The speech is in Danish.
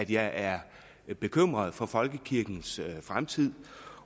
jeg er bekymret for folkekirkens fremtid